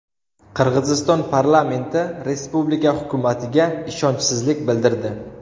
Qirg‘iziston parlamenti respublika hukumatiga ishonchsizlik bildirdi.